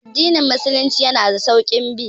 Addinin musulunci yana da sauƙin bi